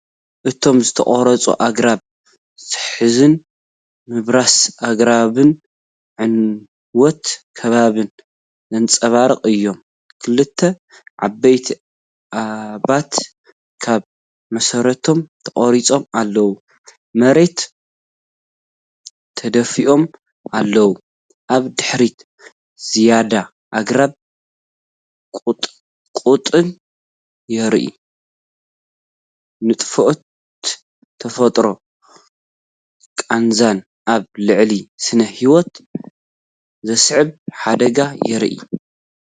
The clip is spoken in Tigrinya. እቶም ዝተቖርጹ ኣግራብ ዘሕዝን፣፡ ምብራስ ኣግራብን ዕንወት ከባብን ዘንጸባርቑ እዮም። ክልተ ዓበይቲ ኦማት ካብ መሰረቶም ተቖሪጾም ኣብ መሬት ተደፊኦም ኣለዉ፤ ኣብ ድሕሪት ዝያዳ ኣግራብን ቁጥቋጥን ይርአ። ንጥፍኣት ተፈጥሮን ቃንዛን ኣብ ልዕሊ ስነ-ህይወት ዘስዕቦ ሓደጋን የርኢ።